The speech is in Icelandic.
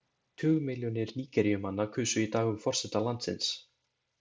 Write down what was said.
Tugmilljónir Nígeríumanna kusu í dag um forseta landsins.